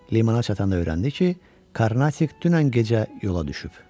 Limana çatanda öyrəndi ki, Karnatik dünən gecə yola düşüb.